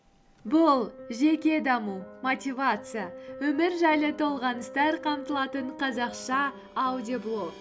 бұл жеке даму мотивация өмір жайлы толғаныстар қамтылатын қазақша аудиоблог